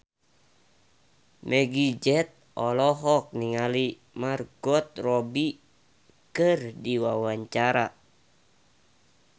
Meggie Z olohok ningali Margot Robbie keur diwawancara